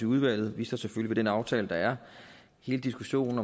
udvalget vi står selvfølgelig ved den aftale der er hele diskussionen